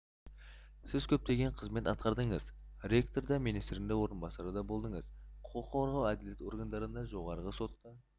сіз көптеген қызмет атқардыңыз ректор да министрдің орынбасары да болдыңыз құқық қорғау әділет органдарында жоғарғы сотта